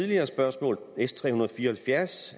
her og love